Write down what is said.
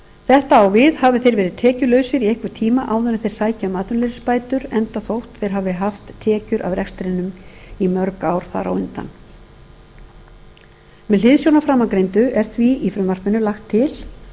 þetta á við hafi þeir verið tekjulausir í einhvern tíma áður en þeir sækja um atvinnuleysisbætur enda þótt þeir hafi haft tekjur af rekstrinum í mörg ár þar á undan með hliðsjón af framangreindu er því í frumvarpinu lagt til